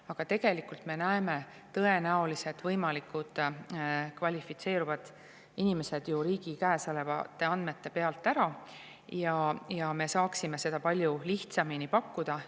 Aga tegelikult me tõenäoliselt näeme võimalikud kvalifitseeruvad inimesed ju riigi käes olevate andmete pealt ära ja me saaksime seda palju lihtsamini pakkuda.